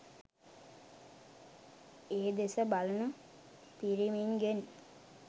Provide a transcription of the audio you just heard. ඒදෙස බලන පිරිමින් ගෙන්